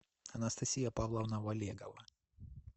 анастасия павловна валегова